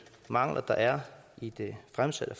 mangler der er i det fremsatte